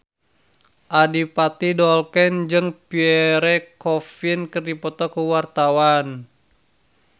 Adipati Dolken jeung Pierre Coffin keur dipoto ku wartawan